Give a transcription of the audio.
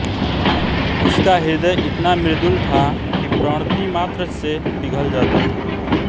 उसका हृदय इतना मृदुल था कि प्रणतिमात्र से पिघल जाता था